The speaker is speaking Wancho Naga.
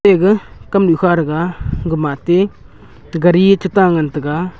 te gaga kamnu kha rega gamate gerie chu ta ngan taiga.